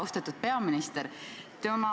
Austatud peaminister!